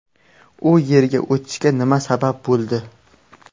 U yerga o‘tishga nima sabab bo‘ldi?